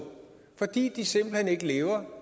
fordi de simpelt hen ikke lever